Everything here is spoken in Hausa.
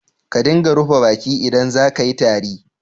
Ka dinga rufe baki idan za ka yi tari.